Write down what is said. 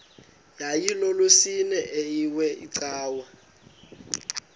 yayilolwesine iwe cawa